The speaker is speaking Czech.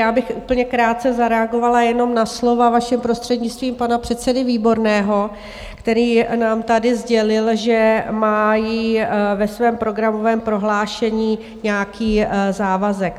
Já bych úplně krátce zareagovala jenom na slova, vaším prostřednictvím, pana předsedy Výborného, který nám tady sdělil, že mají ve svém programovém prohlášení nějaký závazek.